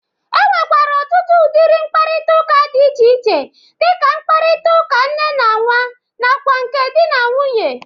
E nwekwara ọtụtụ ụdịrị mkparịtaụka dị iche iche dị ka nkparịtara ụka nne na nwa nakwa nke dị na nwunye.